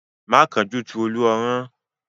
Má kánjú tú Olú ọrán!